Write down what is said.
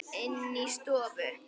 Inni í stofu.